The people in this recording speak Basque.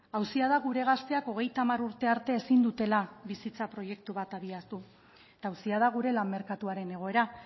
auzia da gure gazteak hogeita hamar urte arte ezin dutela bizitza proiektua bat abiatu eta auzia da gure lan merkatuaren egoera